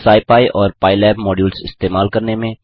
scipy और PyLab modules इस्तेमाल करने में